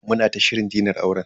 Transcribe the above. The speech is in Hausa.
Muna ta shirin dinar auren.